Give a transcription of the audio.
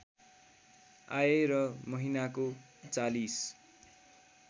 आए र महिनाको ४०